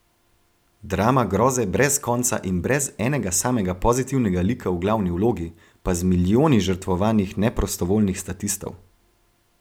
Drama groze brez konca in brez enega samega pozitivnega lika v glavni vlogi, pa z milijoni žrtvovanih neprostovoljnih statistov.